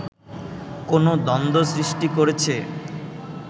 কোন দ্বন্দ্ব সৃষ্টি করেছে